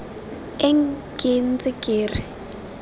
eng ke ntse ke re